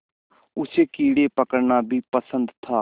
उसे कीड़े पकड़ना भी पसंद था